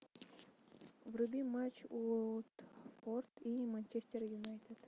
вруби матч уотфорд и манчестер юнайтед